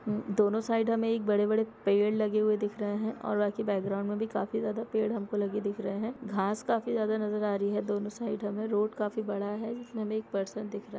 दोनों साइड मे बड़े-बड़े पेड़ लगे हुए दिख रहे है और आगे बाकी बैकग्राउंड में भी काफी ज्यादा पेड़ हमको लगे हुए दिख रहे है घास काफी ज्यादा नजर आ रही है दोनो साइड मे हमें रोड काफी बड़ा है जिसमें हमे एक पर्सन दिख रहा--